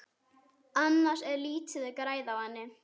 Annars er lítið að græða á henni.